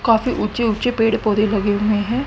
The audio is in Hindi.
काफी ऊंचे ऊंचे पेड़ पौधे लगे हुए हैं।